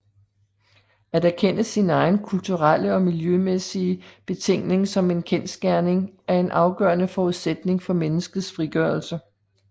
At erkende sin egen kulturelle og miljømæssige betingning som en kendsgerning er en afgørende forudsætning for menneskets frigørelse